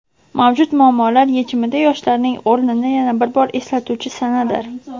mavjud muammolar yechimida yoshlarning o‘rnini yana bir bor eslatuvchi sanadir.